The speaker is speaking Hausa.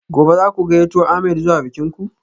Gobe ​​zaku gayyato ahmed zuwa bikin ku?